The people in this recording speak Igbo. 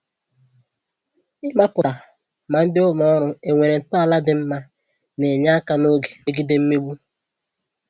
Ịmapụta ma ndị ụlọ ọrụ enwere ntọala dị mma na-enye aka n'oge migede mmegbu